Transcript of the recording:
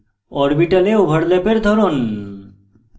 orbital ওভারল্যাপের ধরন